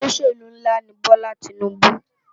Ólóṣélú nlá ni Bola Tinubu